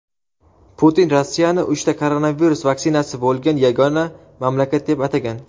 Putin Rossiyani uchta koronavirus vaksinasi bo‘lgan yagona mamlakat deb atagan.